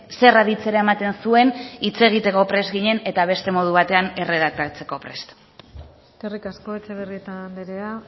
zer aditzera ematen zuen hitz egiteko prest ginen eta beste modu batean erredaktatzeko prest eskerrik asko etxebarrieta andrea